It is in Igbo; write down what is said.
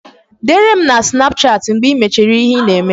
Dere m na sinapụchati mgbe I mechara ihe ị na-eme